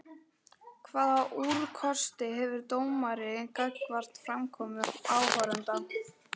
Hvaða úrkosti hefur dómari gagnvart framkomu áhorfenda?